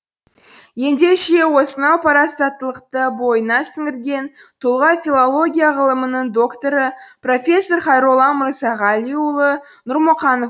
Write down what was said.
ендеше осынау парасаттылықты бойына сіңірген тұлға филология ғылымының докторы профессор хайролла мырзағалиұлы нұрмұқанов